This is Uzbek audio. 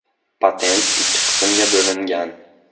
Patent ikki qismga bo‘lingan.